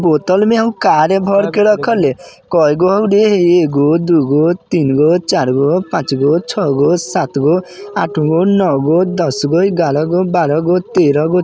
बोतल में हम कारे भरके रखल हइ। कोई गौडे ईगो दुगो तीनगो चरगो पाँचगो छगो सातगो आठगो नौगो दसगो ग्यारागो बारागो तेरागो--